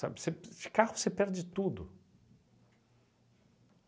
Sabe, você de carro você perde tudo.